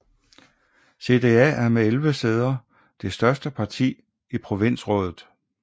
CDA er med 11 sæder det største parti i provinsrådet